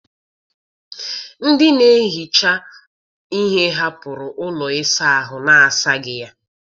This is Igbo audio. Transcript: Ndị na-ehicha ihe hapụrụ ụlọ ịsa ahụ na-asaghị ya.